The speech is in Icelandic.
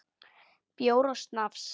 Bjór og snafs.